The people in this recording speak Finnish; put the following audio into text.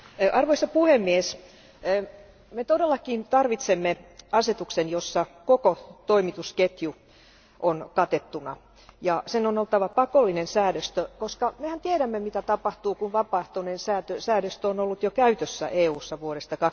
Arvoisa puhemies, me todellakin tarvitsemme asetuksen, jossa koko toimitusketju on katettuna, ja sen on oltava pakollinen säännöstö, koska mehän tiedämme, mitä tapahtuu, kun vapaaehtoinen säännöstö on ollut jo käytössä EUssa vuodesta